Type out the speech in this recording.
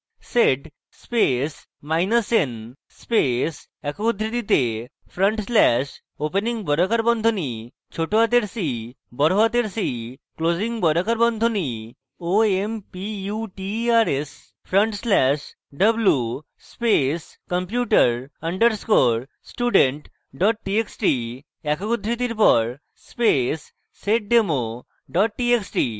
sed space minus n space একক উদ্ধৃতিতে front slash opening বর্গাকার বন্ধনী cc closing বর্গাকার বন্ধনী omputers front slash w space computer underscore student txt txt একক উদ্ধৃতির পর space seddemo txt txt